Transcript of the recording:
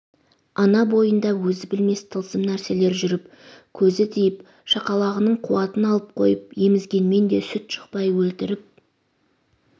ана бойында өзі білмес тылсым нәрселер жүріп көзі тиіп шақалағының қуатын алып қойып емізгенмен де сүт шықпай өлтіріп